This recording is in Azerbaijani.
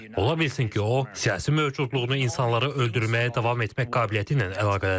Ola bilsin ki, o, siyasi mövcudluğunu insanları öldürməyə davam etmək qabiliyyəti ilə əlaqələndirir.